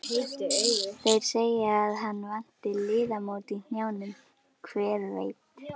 Þeir segja að hann vanti liðamót í hnjánum, hver veit?